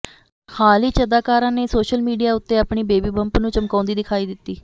ਹਾਲ ਹੀ ਚ ਅਦਾਕਾਰਾ ਨੇ ਸੋਸ਼ਲ ਮੀਡੀਆ ਉੱਤੇ ਆਪਣੇ ਬੇਬੀ ਬੰਪ ਨੂੰ ਚਮਕਾਉਂਦੀ ਦਿਖਾਈ ਦਿੱਤੀ